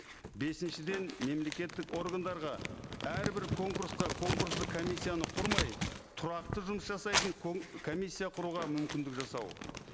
бесіншіден мемлекеттік органдарға әрбір конкурсқа конкурстық комиссияны құрмай тұрақты жұмыс жасайтын комиссия құруға мүмкіндік жасау